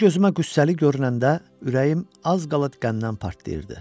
O gözümə qüssəli görünəndə ürəyim az qala qəmdən partlayırdı.